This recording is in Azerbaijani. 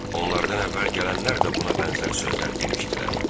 Onlardan əvvəl gələnlər də buna bənzər sözlər demişdilər.